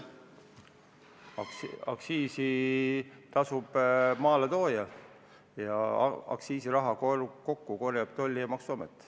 Aktsiisi tasub maaletooja ja aktsiisiraha korjab kokku Maksu- ja Tolliamet.